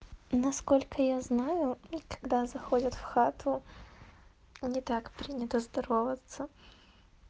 насколько я знаю мм когда заходят в хату не так принято здороваться